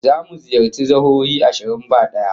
Zamu ziyarci jihohi ashirin ba daya